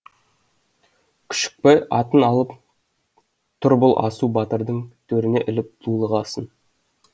күшікбай атын алып тұр бұл асу батырдың төріне іліп дулығасын